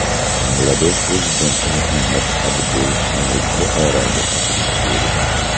Bangladesh prezidenti Muhammad Abdul Hamid Buxoroga tashrif buyurdi .